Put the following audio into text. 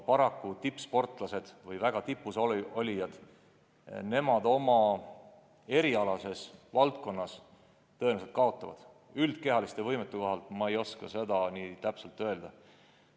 Samas tippsportlased või muidu väga tipus olijad omal alal tõenäoliselt kaotavad, nende üldkehaliste võimete kohta ma ei oska täpselt öelda.